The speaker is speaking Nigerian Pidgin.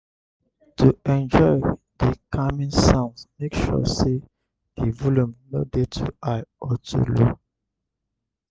to enjoy di calming sounds make sure say di volume no de too high or too low